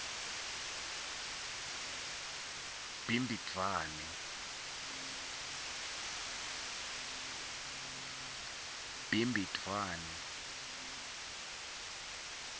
bhimbidvwane